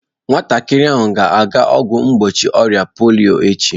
Nwatakịrị ahụ ga-aga ọgwụ mgbochi ọrịa polio echi